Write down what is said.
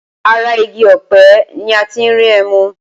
Ara igi ọ̀pẹ ni a ti ń rí ẹmu.